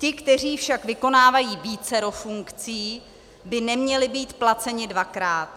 Ti, kteří však vykonávají vícero funkcí, by neměli být placeni dvakrát.